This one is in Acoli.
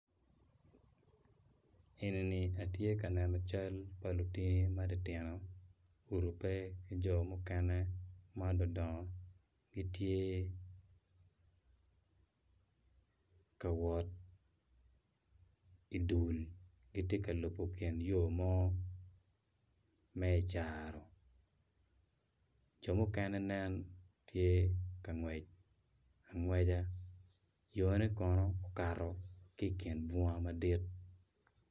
Enini atye ka neno cal pa lutini matitino gurupe ki jo mukene ma dongo dongo gitye ka wot idul giti ka lubo ki yo mo me icaro jo mukene nen tye ka ngwec angwecca yone kono okato ki i kin bunga madit